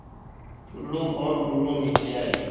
टुल्लु और बुल्लु नीचे आए